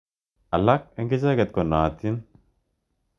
Alak eng' icheket konaatin.